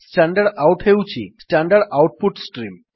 stdout ହେଉଛି standard output stream